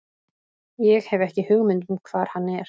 Ég hef ekki hugmynd um hvar hann er.